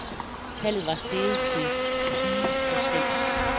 Tallet var steget til tyve procent.